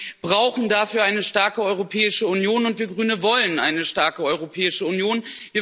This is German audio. Wir brauchen dafür eine starke Europäische Union und wir Grüne wollen eine starke Europäische Union.